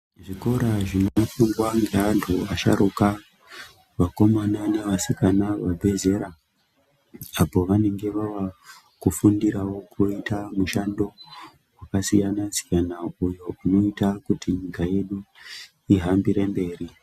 Zvikora zvinofundwa nevantu vasharukwa Vakomana nevasikana vezera apo pavanenge vava kufundirawo kuita mishando yakasiyana siyana iyo inoita kuti nyika yedu ihambire mberi.